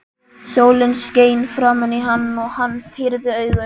Sólin skein framan í hann og hann pírði augun.